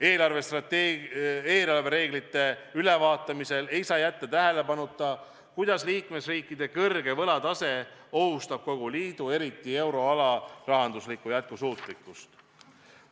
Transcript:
Eelarvereeglite ülevaatamisel ei saa jätta tähelepanuta, kuidas liikmesriikide kõrge võlatase ohustab kogu liidu, eriti euroala rahanduslikku jätkusuutlikkust.